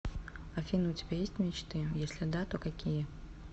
афина у тебя есть мечты если да то какие